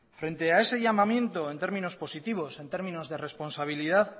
frente a ese llamamiento en términos positivos en términos de responsabilidad